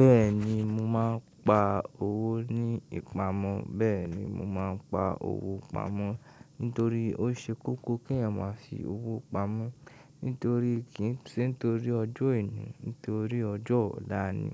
Bẹ́ẹ̀ni mo máa ń pa owó ní ìpamọ́. Bẹ́ẹ̀ni mo máa ń pa owó pamọ́ nítorí ó ṣe kókó kí èèyàn máa fi owó pamọ́. Nítorí kí ì ṣe nítorí ọjọ́ oní, nítorí ọjọ́ ọ̀la ni,